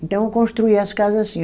Então eu construía as casa assim.